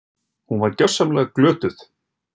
Hún var gersamlega glötuð!